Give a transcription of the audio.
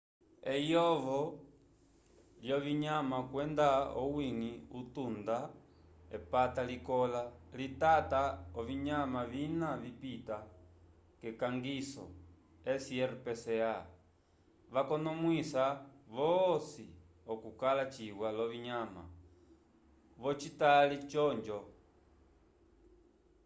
eyovo lyovinyama kwenda owiñgi utunga epata likola litata ovinyama vina vipita k’ekangiso srpca vakonomwisa vosi okukala ciwa l’ovinyama v’ocitali c’onjo